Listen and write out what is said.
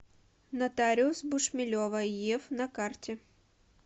нотариус бушмелева ев на карте